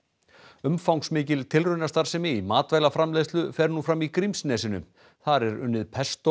umfangsmikil tilraunastarfsemi í matvælaframleiðslu fer nú fram í Grímsnesinu þar er unnið